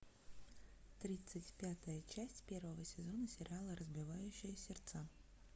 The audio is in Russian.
тридцать пятая часть первого сезона сериала разбивающая сердца